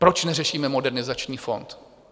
Proč neřešíme Modernizační fond?